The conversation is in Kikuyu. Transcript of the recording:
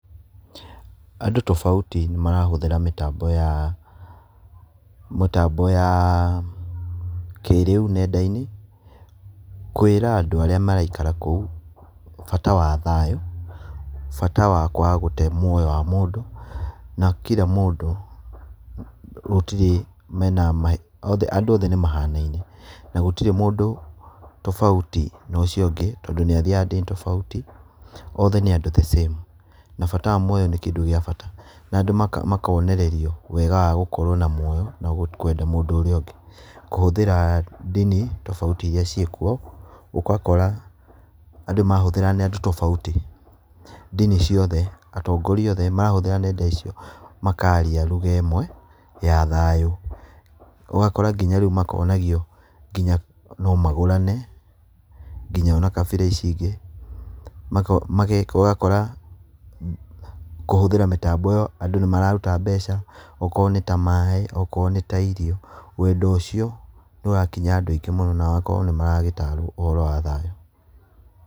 Andũ tofauti nĩmarahũthĩra mĩtambo ya, mĩtambo ya kĩrĩu nenda-inĩ, kwĩĩra andũ arĩa maraikara kũu bata wa thayũ, bata wa kwaga gũte mũoyo wa mũndũ na kira mũndũ gũtirĩ mena, andũ othe ni mahanaine na gũtirĩ mũndũ tobauti na ũcio ũngĩ, tondũ nĩathiaga dini tobauti othe nĩ andũ the same. Na bata wa muoyo nĩ kĩndũ gĩa bata na andũ makonererio wega wa gũkorwo na muoyo na kwenda mũndũ ũrĩa ũngĩ. Kũhũthĩra dini tofauti iria ciĩkuo ũgakora andũ marahũthĩra nenda tofauti. Dini ciothe, atongoria othe marahũthĩra nenda icio makaria lugha ĩmwe ya thayũ. Ũgakora ngĩnya rĩu makonagio ngĩnya no magũrane ngĩnya na kabira ici ingĩ. Ũgakora kũhũthĩra mĩtambo ĩyo andũ nĩmararuta mbeca, okorwo nĩ ta maaĩ okorwo nĩ ta irio. Wendo ũcio nĩũrakinyĩra andũ aingĩ na magakorwo nĩmaratarwo ũhoro wa thayũ